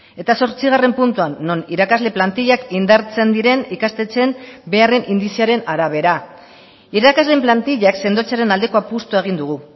eta zortzigarren puntuan non irakasle plantillak indartzen diren ikastetxeen beharren indizearen arabera irakasleen plantillak sendotzearen aldeko apustua egin dugu